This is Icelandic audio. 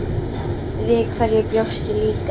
Við hverju bjóstu líka?